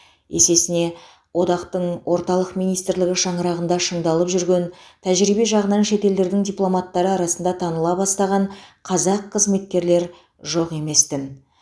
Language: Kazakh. есесіне одақтың орталық министрлігі шаңырағында шыңдалып жүрген тәжірибе жағынан шет елдердің дипломаттары арасында таныла бастаған қазақ қызметкерлер жоқ емес тін